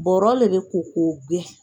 Bɔrɔ de ko k'o gosi.